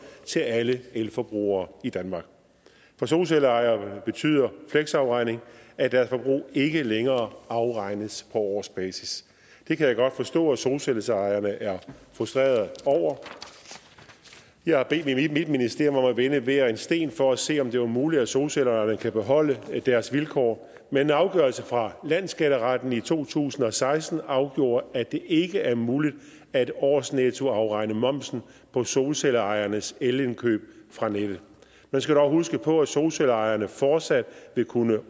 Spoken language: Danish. til alle elforbrugere i danmark for solcelleejere betyder fleksafregning at deres forbrug ikke længere afregnes på årsbasis det kan jeg godt forstå at solcelleejerne er frustrerede over jeg har bedt mit ministerium om at vende hver en sten for at se om det er muligt at solcelleejerne kan beholde deres vilkår men en afgørelse fra landsskatteretten i to tusind og seksten afgjorde at det ikke er muligt at årsnettoafregne momsen på solcelleejernes elindkøb fra nettet man skal dog huske på at solcelleejerne fortsat vil kunne